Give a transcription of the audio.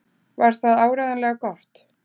Var það áreiðanlega gott?